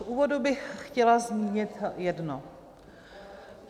V úvodu bych chtěla zmínit jedno.